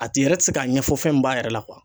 A tigi yɛrɛ ti se k'a ɲɛfɔ fɛn min b'a yɛrɛ la